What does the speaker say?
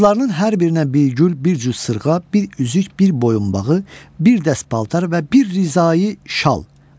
Qızlarının hər birinə bir gül, bir cüt sırğa, bir üzük, bir boyunbağı, bir dəst paltar və bir Rizayi şal.